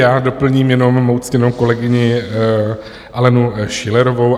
Já doplním jenom svou ctěnou kolegyni Alenu Schillerovou.